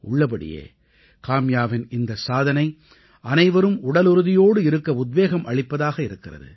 உள்ளபடியே காம்யாவின் இந்தச் சாதனை அனைவரும் உடலுறுதியோடு இருக்க உத்வேகம் அளிப்பதாக இருக்கிறது